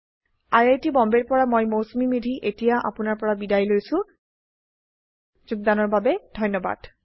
I I T Bombay ৰ পৰা মই মৌচুমী মেধী এতিয়া আপুনাৰ পৰা বিদায় লৈছো যোগদানৰ বাবে ধন্যবাদ